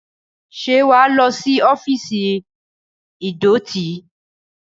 Ṣé wà á lọ sí ọ́fíìsì ìdọ̀tí?